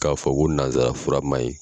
K'a fɔ ko nazara fura man ɲi.